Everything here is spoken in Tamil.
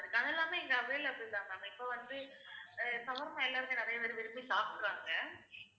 அதெல்லாமே இங்க available தான் ma'am இப்ப வந்து சமோசா எல்லாமே நிறையபேர் விரும்பி சாப்பிடுறாங்க